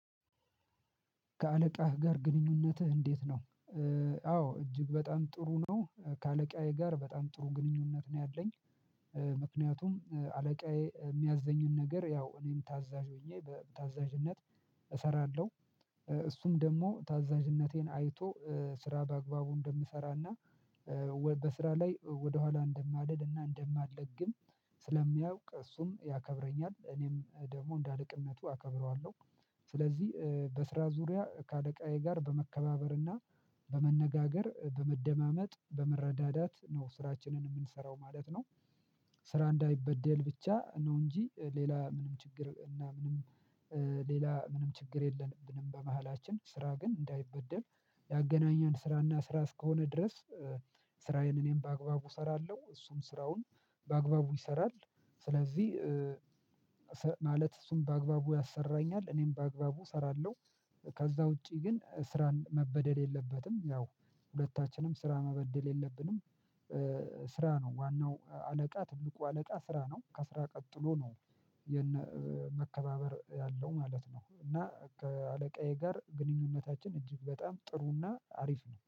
ከአለቃህ ጋር ግንኙነትህ እንዴት ነው? አዎ እጅግ በጣም ጥሩ ነው ከአለቃዬ ጋር በጣም ጥሩ ግንኙነት ነው ያለኝ። ምክንያቱም አለቃዬ የሚያዘኝን ነገር ያው እኔም ታዛዥ ሆኜ በታዛዥነት እሰራለሁ። እሱም ደግሞ ታዛዥነቴን አይቶ ስራ በአግባቡ እንደምሰራና በስራ ላይ ወደኋላ እንደማልልና እንደማለግም ስለሚያውቅ እሱም ያከብረኛል እኔም ደግሞ እንደ አለቅነቱ አከብረዋለሁ። ስለዚህ በስራ ዙሪያ ከአለቃዬ ጋር በመከባበርና በመነጋገር በመደማመጥ በመረዳዳት ነው ስራችንን የምንሰራው ማለት ነው። ስራ እንዳይበደል ብቻ ነው እንጂ ሌላ ምንም ችግር እና ምንም ሌላ ምንም ችግር የለብንም። በመሃላችን ስራ ግን እንዳይበደል ያገናኘን ስራና ስራ እስከሆነ ድረስ። ስራዬን እኔም በአግባቡ እሰራለሁ እሱም ስራውን በአግባቡ ይሰራል። ስለዚህ ማለት እሱን በአግባቡ ያሰራኛል እኔም በአግባቡ እሰራለሁ። ከዛ ውጪ ግን ስራን መበደል የለበትም ያው ሁለታችንም ስራ መበደል የለብንም። ስራ ነው ዋናው አለቃ ትልቁ አለቃ ስራ ነው ከስራ ቀጥሎ ነው። የነ መከባበር ያለው ማለት ነው እና ከአለቃዬ ጋር ግንኙነታችን እጅግ በጣም ጥሩና አሪፍ ነው